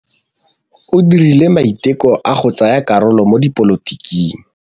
O dirile maitekô a go tsaya karolo mo dipolotiking.